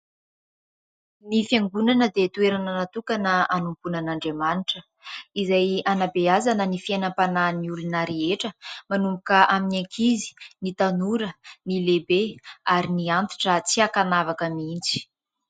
Ny fiangonana dia toerana natokana anompoana an'i andriamanitra izay anambeazana ny fiainam-panahin'olona rehetra manomboka amin'ny ankizy, ny tanora, ny lehibe ary ny antitra tsy hakanavaka mihintsy.